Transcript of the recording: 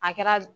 A kɛra